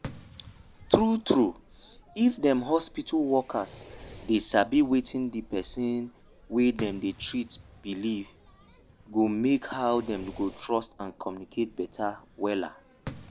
true trueif dem hospital worker dey sabi wetin de pesin wey dem dey treat believee go make how dem go trust and communicate beta wella.